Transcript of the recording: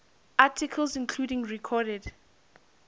articles including recorded